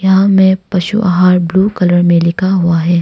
यहां में पशु आहार ब्ल्यू कलर में लिख हुआ है।